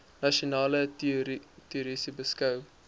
nasionale tesourie beskou